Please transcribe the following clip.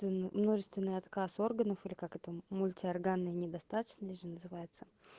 множественный отказ органов или как это мульти органная недостаточность же называется